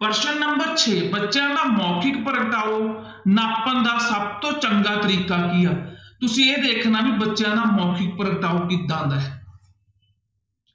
ਪ੍ਰਸ਼ਨ number ਛੇ ਬੱਚਿਆਂ ਦਾ ਮੌਖਿਕ ਪ੍ਰਗਟਾਓ ਨਾਪਣ ਦਾ ਸਭ ਤੋਂ ਚੰਗਾ ਤਰੀਕਾ ਕੀ ਆ, ਤੁਸੀਂ ਇਹ ਦੇਖਣਾ ਵੀ ਬੱਚਿਆਂ ਦਾ ਮੋਖਿਕ ਪ੍ਰਗਟਾਓ ਕਿੱਦਾਂ ਦਾ ਹੈ